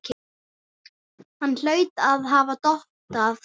Hann hlaut að hafa dottað.